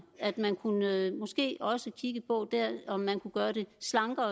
at man måske også kigge på om man kunne gøre det slankere